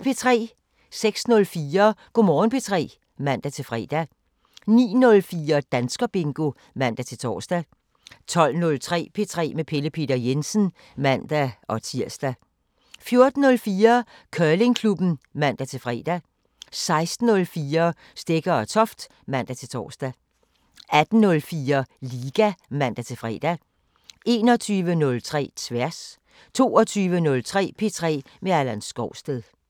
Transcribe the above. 06:04: Go' Morgen P3 (man-fre) 09:04: Danskerbingo (man-tor) 12:03: P3 med Pelle Peter Jensen (man-tir) 14:04: Curlingklubben (man-fre) 16:04: Stegger & Toft (man-tor) 18:04: Liga (man-fre) 21:03: Tværs 22:03: P3 med Allan Skovsted